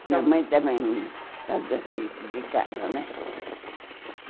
Minha mãe também fazia serviço de casa, né?